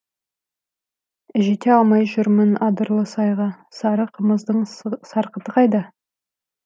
жете алмай жүрмін адырлы сайға сары қымыздың сарқыты қайда